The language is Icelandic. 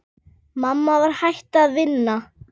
Mamma var hætt að vinna.